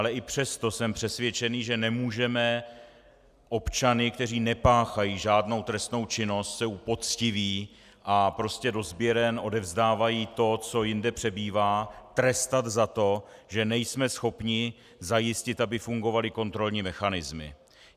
Ale i přesto jsem přesvědčen, že nemůžeme občany, kteří nepáchají žádnou trestnou činnost, jsou poctiví a prostě do sběren odevzdávají to, co jinde přebývá, trestat za to, že nejsme schopni zajistit, aby fungovaly kontrolní mechanismy.